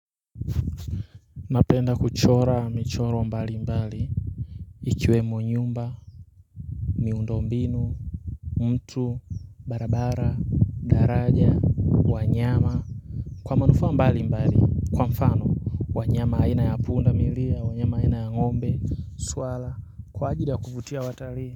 Napenda kuchora michoro mbali mbali Ikiwemo nyumba miundo mbinu mtu barabara daraja wanyama Kwa manufaa mbali mbali Kwa mfano wanyama aina ya pundamilia wanyama aina ya ngombe swala Kwa ajili ya kuvutia watalii.